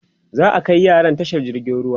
za'a Kai yaran tashar jirgin ruwa